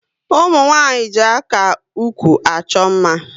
Umunwanyi ji aka ụkwụ achọ mma